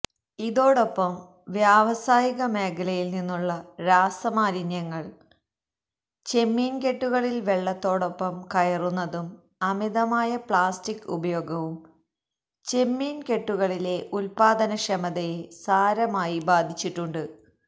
ഇതോടൊപ്പം വ്യാവസായിക മേഖലയില് നിന്നുള്ള രാസമാലിന്യങ്ങള് ചെമ്മീന്കെട്ടുകളില് വെള്ളത്തോടൊപ്പം കയറുന്നതും അമിതമായ പ്ലാസ്റ്റിക് ഉപയോഗവും ചെമ്മീന്കെട്ടുകളിലെ ഉത്പാദനക്ഷമതയെ സാരമായി ബാധിച്ചിട്ടുമുണ്ട്